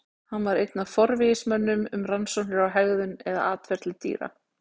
Hann var einn af forvígismönnum um rannsóknir á hegðun eða atferli dýra.